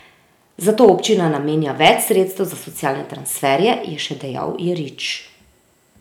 Zato občina namenja več sredstev za socialne transferje, je še dejal Jerič.